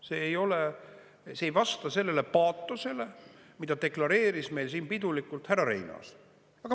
See ei ole, see ei vasta sellele paatosele, mida deklareeris meil siin pidulikult härra Reinaas.